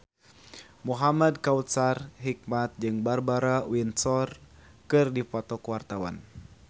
Muhamad Kautsar Hikmat jeung Barbara Windsor keur dipoto ku wartawan